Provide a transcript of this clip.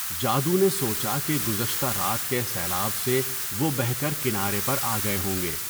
جادو نے سوچا کہ گذشتہ رات کے سیلاب سے وہ بہہ کر کنارے پر آگئے ہوں گے۔